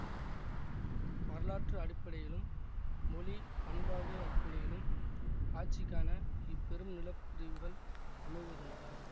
வரலாற்று அடிப்படையிலும் மொழி பண்பாடு அடிப்படையிலும் ஆட்சிக்கான இப்பெரும் நிலப்பிரிவுகள் அமைவதுண்டு